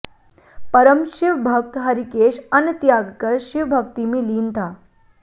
परम शिव भक्त हरिकेश अन्न त्यागकर शिव भक्ति में लीन था